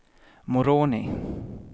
Moroni